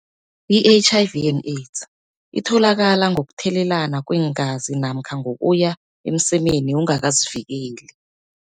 I-H_I_V and AODS itholakala ngokuthelelana kweengazi namkha ngokuya emsemeni ungakazivikeli.